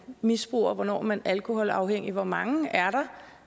misbruger hvornår man er alkoholafhængig hvor mange er